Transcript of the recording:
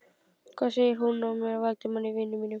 Hvað segir þú mér af Valdimari, vini mínum?